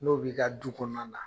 N'o b'i ka du kɔnɔna na